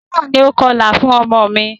Táyọ̀ ni o kọlà fún ọmọ mi.